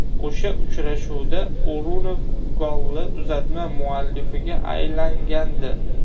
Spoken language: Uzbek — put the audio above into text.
O‘sha uchrashuvda O‘runov golli uzatma muallifiga aylangandi.